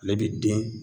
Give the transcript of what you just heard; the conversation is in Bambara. Ale bi den